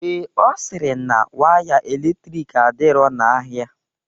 Ee, Ọ sịrị na waya eletrik adirọ n'ahia.